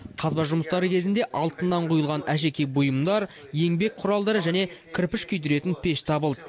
қазба жұмыстары кезінде алтыннан құйылған әшекей бұйымдар еңбек құралдары және кірпіш күйдіретін пеш табылды